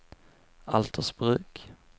Altersbruk